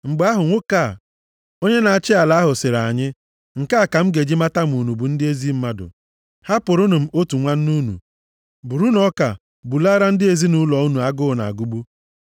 “Mgbe ahụ, nwoke a, onye na-achị ala ahụ, sịrị anyị, ‘Nke a ka m ga-eji mata ma unu bụ ndị ezi mmadụ. Hapụrụnụ m otu nwanne unu. Burunu ọka, bulaara ndị ezinaụlọ unu agụụ na-agụgbu.